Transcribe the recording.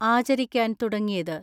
ആചരിക്കാൻ തുടങ്ങിയത്.